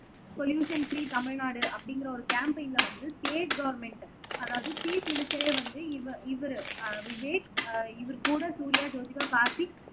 solution pre Tamil Nadu அப்படிங்கற ஒரு காம்பெய்ன்ல வந்து ஸ்டேட் கவர்மெண்ட் அதாவது சீஃப் மினிஸ்டரே வந்து இவ இவரு ஆஹ் விவேக் ஆஹ் இவர் கூட சூர்யா ஜோதிகா கார்த்திக்